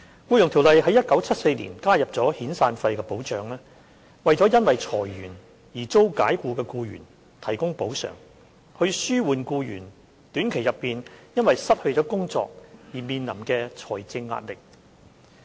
《僱傭條例》於1974年加入遣散費的保障，為因裁員而遭解僱的僱員提供補償，以紓緩僱員短期內因失去工作而面臨的財政壓力。